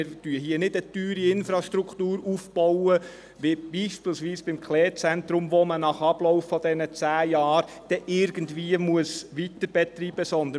Hier bauen wir nicht eine teure Infrastruktur auf – wie beispielsweise beim Zentrum Paul Klee (ZPK) –, die man nach Ablauf dieser zehn Jahre dann irgendwie weiterbetreiben muss.